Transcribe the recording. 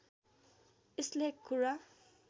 यसले एक कुरा